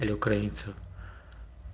или украинцы